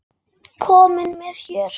Kominn með her!